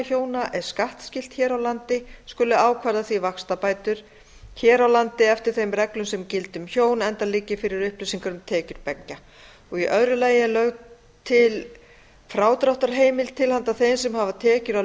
hjóna er skattskylt hér á landi skuli ákvarða því vaxtabætur hér á landi eftir þeim reglum sem gilda um hjón enda liggi fyrir upplýsingar um tekjur beggja í öðrum þætti er lögð til frádráttarheimild til handa þeim sem hafa tekjur af